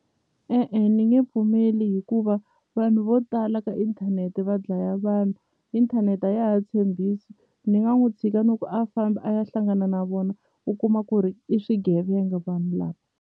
E-e ni nge pfumeli hikuva vanhu vo tala ka inthanete va dlaya vanhu inthanete a ya ha tshembisi ni nga n'wi tshika niku a fambi a ya hlangana na vona u kuma ku ri i swigevenga vanhu lava.